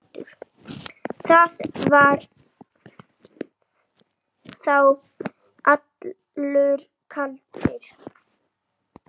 Þetta var þá allur galdur.